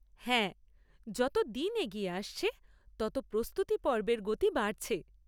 হ্যাঁ, যত দিন এগিয়ে আসছে, তত প্রস্তুতিপর্বের গতি বাড়ছে।